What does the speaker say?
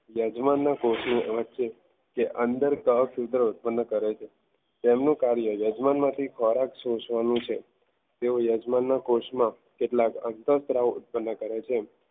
યજમાનના કોષ વચ્ચે કે અંદર કવચ સૂત્રો ઉત્પન્ન કરે છે. તેમનું કાર્ય યજમાનમાંથી પરાગ સોસવાનું છે તેઓ યજમાનના કોષમાં કેટલા અંતર ધરાવ ઉત્પન્ન કરે છે.